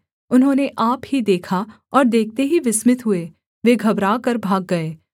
उन्होंने आप ही देखा और देखते ही विस्मित हुए वे घबराकर भाग गए